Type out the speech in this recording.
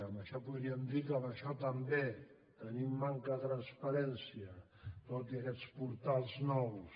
en això podríem dir que en això també tenim manca de transparència tot i aquells portals nous